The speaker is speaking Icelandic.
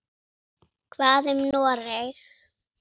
Hvað um Noreg?